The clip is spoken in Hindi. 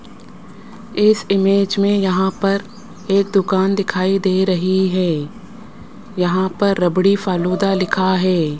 इस इमेज में यहां पर एक दुकान दिखाई दे रही है यहां पर रबड़ी फालूदा लिखा है।